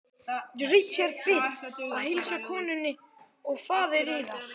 Richard Bið að heilsa konunni og faðir yðar.